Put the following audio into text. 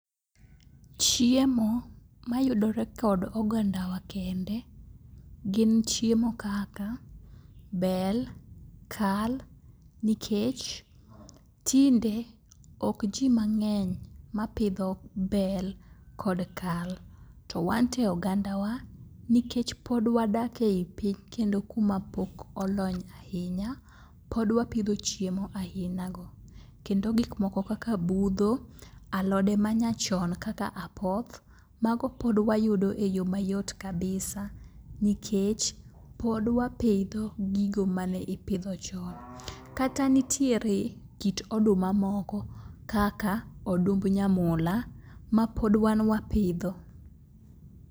Chiemo mayudore kod ogandawa kende gin chiemo kaka bel, kal nikech tinde okji mang'eny mapidho bel kod kal to wanto e ogandawa nikech pod wadak e i piny kendo kumapok olony ahinya, pod wapidho chiemo ahinago kendo gikmoko kaka budho, alode manyachon kaka apoth mago pod wayudo e yo mayot kabisa nikech pod wapidho gigo ma ne ipidho chon. Kata nitiere kit oduma moko kaka odumb nyamula mapod wan wapidho.